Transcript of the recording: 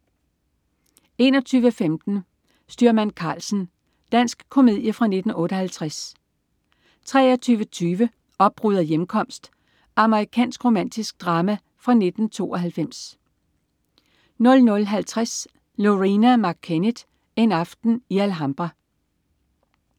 21.15 Styrmand Karlsen. Dansk komedie fra 1958 23.20 Opbrud og hjemkomst. Amerikansk romantisk drama fra 1992 00.50 Loreena McKennitt. En aften i Alhambra